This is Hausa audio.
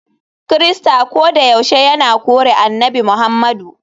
Kirista kodayaushe yana kore Annabi Muhammadu.